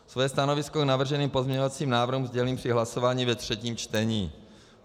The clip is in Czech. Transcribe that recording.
Své stanovisko k navrženým pozměňovacím návrhům sdělím při hlasování ve třetím čtení.